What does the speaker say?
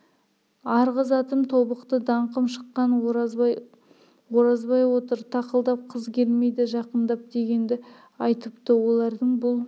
арғы затым тобықты даңқым шыққан оразбай оразбай отыр тақылдап қыз келмейді жақындап дегенді айтыпты олардың бұл